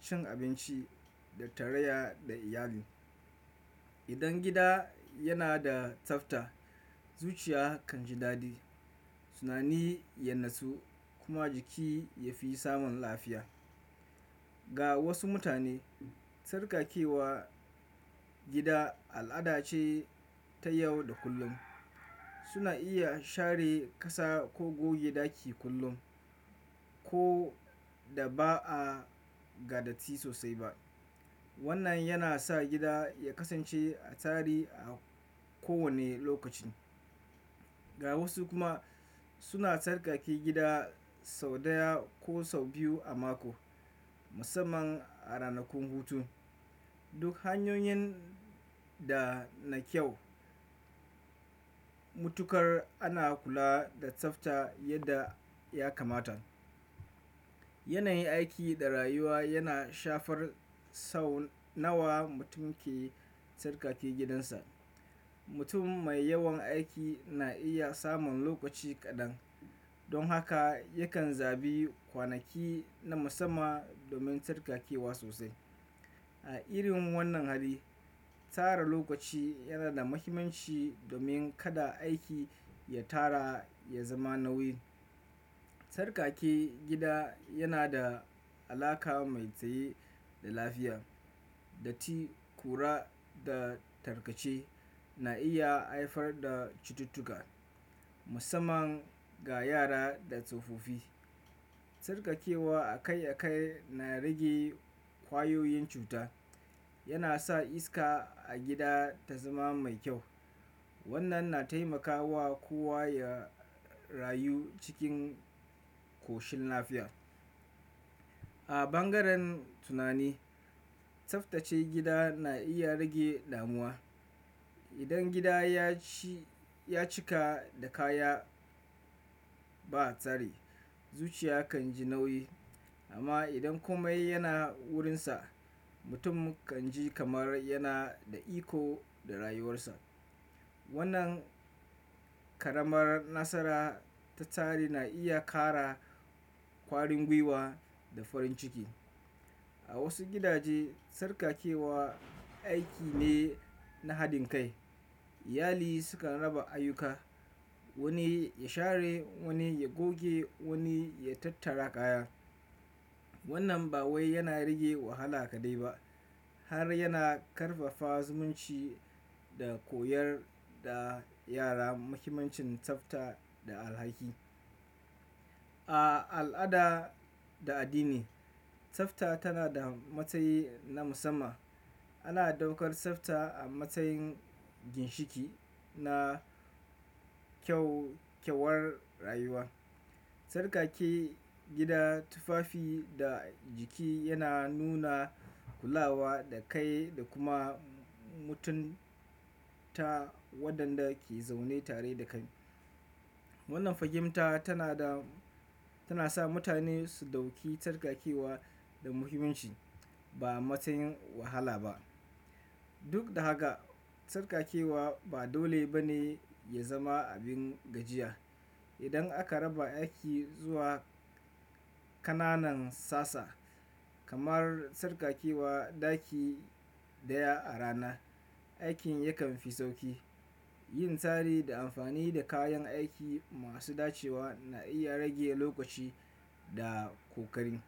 cin abinci da tarayya da iyali. Idan gida yana da tsafta, zuciya kan ji daɗi, tunani ya natsu, kuma jiki ya fi samun lafiya. Ga wasu mutane, tsarkakewa gida al'ada ce ta yau da kullum. Suna iya share ƙasa ko goge ɗaki kullum, ko da ba'a ga datti sosai ba. Wannan yana sa gida ya kasance a tsari a kowane lokaci. Ga wasu kuma suna tsarkake gida sau ɗaya ko sau biyu a mako, musamman a ranakun hutu. Duk hanyoyin da na kyau. Mutuƙar ana kula da tsafta yadda ya kamata. Yanayin aiki da rayuwa yana shafar sau nawa mutum ke tsarkake gidansa. Mutum mai yawan aiki na iya samun lokaci kaɗan, don haka yakan zabi kwanaki na musamman domin tsarkakewa sosai. A irin wannan hali, tara lokaci yana da mahimmanci domin kada aiki ya tara ya zama nauyi. Tsarkake gida yana da alaƙa mai tsaye da lafiya. Datti, ƙura da tarkace, na iya haifar da cututtuka musamman ga yara da tsofaffi. Tsarkakewa akai-akai na rage ƙwayoyin cuta. Yana sa iska a gida ta zama mai kyau. Wannan na taimakawa kowa ya rayu cikin ƙoshin lafiya. A bangaren tunani, tsaftace gida na iya rage damuwa. Idan gida ya cika da kaya ba tsari, zuciya kan ji nauyi. Amma idan komai yana wurinsa, mutum kan ji kamar yana da iko da rayuwarsa. Wannan ƙaramar nasara ta tsari na iya ƙara ƙwarin gwiwa da farin ciki. A wasu gidaje, tsarkakewa aiki ne na haɗin kai. Iyali sukan raba ayyuka, wani ya share, wani ya goge, wani ya tattara kaya. Wannan ba wai yana rage wahala kaɗai ba, har yana ƙarfafa zumunci da koyar da yara muhimmancin tsafta da alhaki. A al'ada da addini, tsafta tana da matsayi na musamman. Ana ɗaukar tsafta a matsayin ginshiƙi na kyaukyawar rayuwa. Tsarkake gida, tufafi da jiki yana nuna kulawa da kai da kuma mutunta waɗanda ke zaune tare da kai. Wannan fahimta tana da- tana sa mutane su ɗauki tsarkakewa da muhimmanci ba matsayin wahala ba. Duk da haka, tsarkakewa ba dole ba ne ya zama abin gajiya. Idan aka raba aiki zuwa ƙananan sassa, kamar tsarkakewa ɗaki ɗaya a rana, aikin yakan fi sauƙi. Yin tsari da amfani da kayan aiki masu dacewa na iya rage lokaci da ƙoƙari.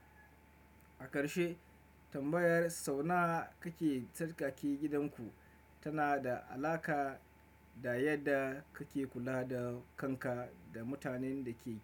A ƙarshe, tambayar sau nawa kake tsarkake gidanku? Tana da alaƙa da yadda kake kula da kanka da mutanen da ke.